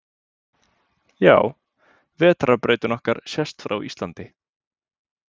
Já, Vetrarbrautin okkar sést frá Íslandi.